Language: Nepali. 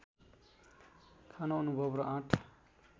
खान अनुभव र आँट